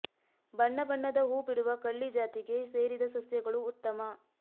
ಬಣ್ಣ ಬಣ್ಣದ ಹೂ ಬಿಡುವ ಕಳ್ಳಿ ಜಾತಿಗೆ ಸೇರಿದ ಸಸ್ಯಗಳು ಉತ್ತಮ